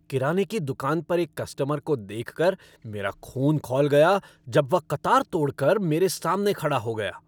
किराने की दुकान पर एक कस्टमर को देखकर मेरा खून खौल गया जब वह कतार तोड़ कर मेरे सामने खड़ा हो गया।